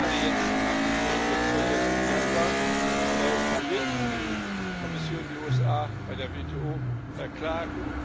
Gerade jetzt, nach dem Verhängen der Zölle im Januar wird die Kommission die USA bei der WTO verklagen.